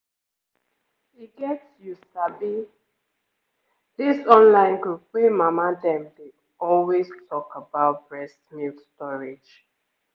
e get you sabi this online group wey mama dem dey always talk about breast milk storage